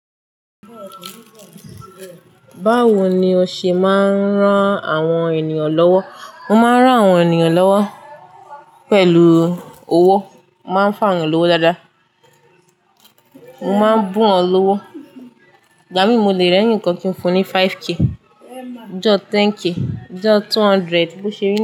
Báwo ni o ṣe máa ń rán àwọn ènìyàn lọ́wọ́? Mo máa ń rán àwọn ènìyàn lọ́wọ́ pẹ̀lú owó, mo máa ń fun áwọn lówó dáadáa. Mo máa ń bùn wọ́n lówó. Igbamín mo le rẹ́ẹ̀nikan kí n fun ní 5k, ijọ 10k, ijọ 200, bó ṣe rí.